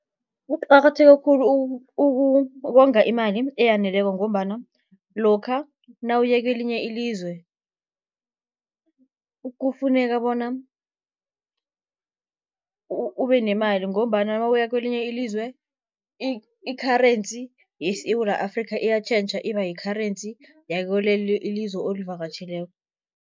Kuqakatheke khulu ukonga imali eyaneleko, ngombana lokha nawuye kwelinye ilizwe kufuneka bona ube nemali, ngombana nawuya kwelinye ilizwe i-currency yeSewula Afrikha, iyatjhentjha iba yi-currency yakulelo ilizwe olivakatjheleko.